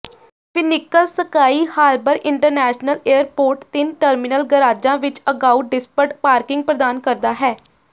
Phoenix Sky Harbor International Airport ਤਿੰਨ terminal ਗਰਾਜਾਂ ਵਿੱਚ ਅਗਾਊਂ ਡਿਸਪ੍ਡ ਪਾਰਕਿੰਗ ਪ੍ਰਦਾਨ ਕਰਦਾ ਹੈ